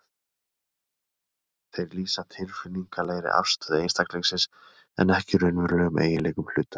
Þeir lýsa tilfinningalegri afstöðu einstaklingsins en ekki raunverulegum eiginleikum hluta.